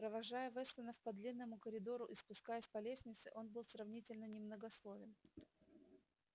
провожая вестонов по длинному коридору и спускаясь по лестнице он был сравнительно немногословен